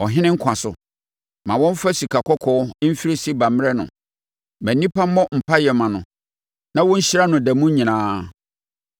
Ɔhene nkwa so! Ma wɔmfa sikakɔkɔɔ mfiri Seba mmrɛ no. Ma nnipa mmɔ mpaeɛ mma no na wɔnhyira no da mu nyinaa.